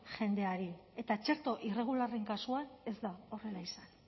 jendeari eta txerto irregularren kasuan ez da horrela izan